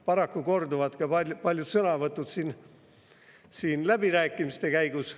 Paraku korduvad ka paljud sõnavõtud siin läbirääkimiste käigus.